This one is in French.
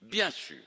Bien sûr,